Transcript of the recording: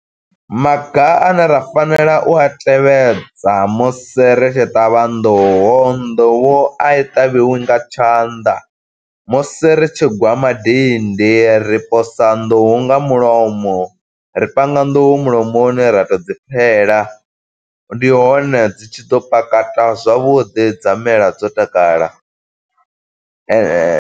Maga ane ra fanela u a tevhedza musi ri tshi ṱavha nḓuhu. Nḓuhu i ṱavhiwi nga tshanḓa. musi ri tshi gwa madindi ri posa nḓuhu nga mulomo. Ri panga nḓuhu mulomoni ra tou dzi pfela, ndi hone dzi tshi ḓo pakata zwavhuḓi, dza mela dzo takala .